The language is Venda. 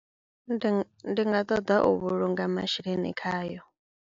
Ndi ng ndi nga ṱoḓa u vhulunga masheleni khayo.